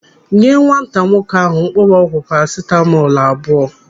Nye nwata nwoke ahụ mkpụrụọgwụ parasitamọl abụọ!